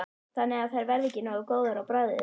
Þannig að þær verða ekki nógu góðar á bragðið?